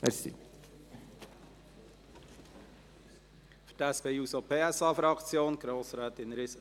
Für die SP-JUSO-PSA-Fraktion: Grossrätin Riesen.